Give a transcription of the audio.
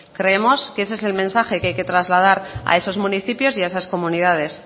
creemos que ese el mensaje que hay que trasladar a esos municipios y a esas comunidades